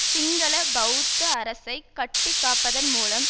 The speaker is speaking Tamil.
சிங்கள பெளத்த அரசை கட்டி காப்பதன் மூலம்